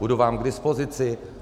Budu vám k dispozici.